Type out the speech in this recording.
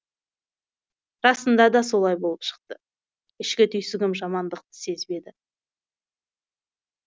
расында да солай болып шықты ішкі түйсігім жамандықты сезбеді